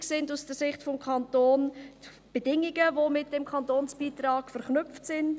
Wichtig sind aus Sicht des Kantons die Bedingungen, welche mit diesem Kantonsbeitrag verknüpft sind.